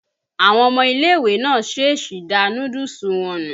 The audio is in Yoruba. Àwọn ọmọ ilé-ìwé náà ṣéṣí da núdúùsù wọn nù.